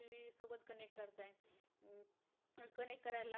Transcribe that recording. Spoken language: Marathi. करायला.